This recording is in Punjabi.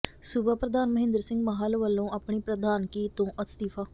ਸੂਬਾ ਪ੍ਰਧਾਨ ਮਹਿੰਦਰ ਸਿੰਘ ਮਾਹਲ ਵੱਲੋਂ ਆਪਣੀ ਪ੍ਰਧਾਨਗੀ ਤੋਂ ਅਸਤੀਫ਼ਾ